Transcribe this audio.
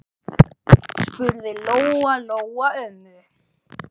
spurði Lóa-Lóa ömmu.